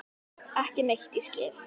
Ekki neitt ég skil.